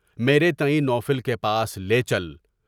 میرے تائیں نوفل کے پاس لے چل۔